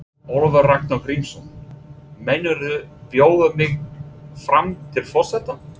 Ólafur Ragnar Grímsson: Meinarðu bjóða mig fram til forseta?